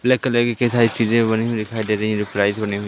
black colour की कई सारी चीजें बनी हुई दिखाई दे रही है --